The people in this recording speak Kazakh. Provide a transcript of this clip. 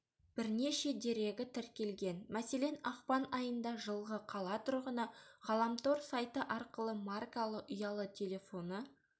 бірнеше дерегі тіркелген мәселен ақпан айында жылғы қала тұрғыны ғаламтор сайты арқылы маркалы ұялы телефоны